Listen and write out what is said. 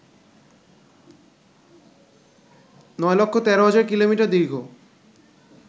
৯১৩০০০ কিমি দীর্ঘ